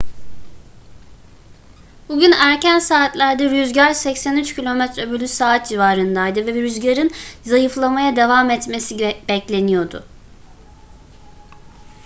bugün erken saatlerde rüzgar 83 km/s civarındaydı ve rüzgarın zayıflamaya devam etmesi bekleniyordu